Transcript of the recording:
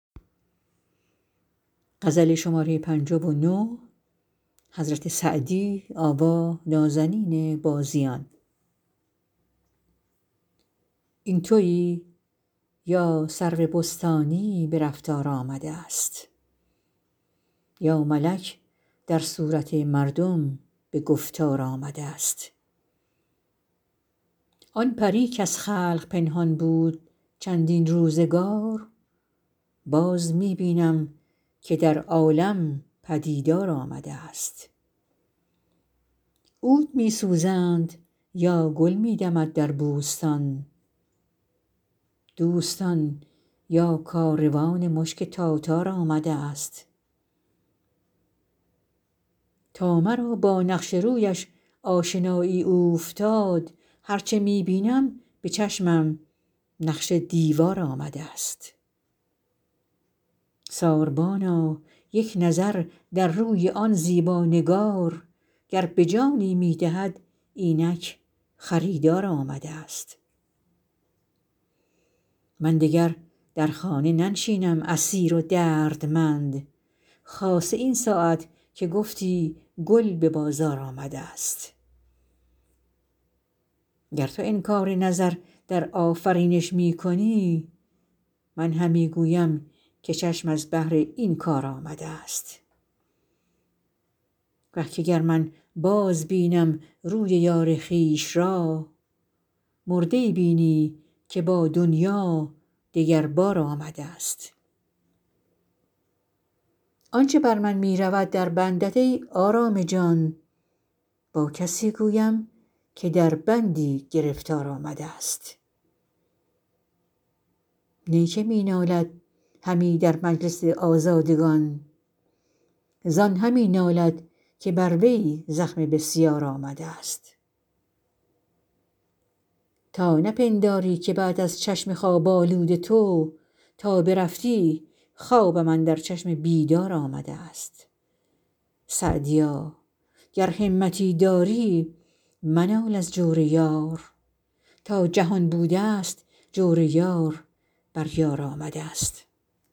آن تویی یا سرو بستانی به رفتار آمده ست یا ملک در صورت مردم به گفتار آمده ست آن پری کز خلق پنهان بود چندین روزگار باز می بینم که در عالم پدیدار آمده ست عود می سوزند یا گل می دمد در بوستان دوستان یا کاروان مشک تاتار آمده ست تا مرا با نقش رویش آشنایی اوفتاد هر چه می بینم به چشمم نقش دیوار آمده ست ساربانا یک نظر در روی آن زیبا نگار گر به جانی می دهد اینک خریدار آمده ست من دگر در خانه ننشینم اسیر و دردمند خاصه این ساعت که گفتی گل به بازار آمده ست گر تو انکار نظر در آفرینش می کنی من همی گویم که چشم از بهر این کار آمده ست وه که گر من بازبینم روی یار خویش را مرده ای بینی که با دنیا دگر بار آمده ست آن چه بر من می رود در بندت ای آرام جان با کسی گویم که در بندی گرفتار آمده ست نی که می نالد همی در مجلس آزادگان زان همی نالد که بر وی زخم بسیار آمده ست تا نپنداری که بعد از چشم خواب آلود تو تا برفتی خوابم اندر چشم بیدار آمده ست سعدیا گر همتی داری منال از جور یار تا جهان بوده ست جور یار بر یار آمده ست